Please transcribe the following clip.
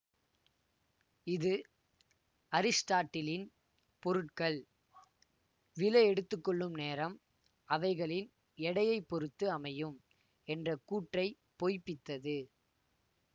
இது அரிஸ்டாட்டிலின் பொருட்கள் விழ எடுத்து கொள்ளும் நேரம் அவைகளின் எடையை பொருத்து அமையும் என்ற கூற்றை பொய்ப்பித்தது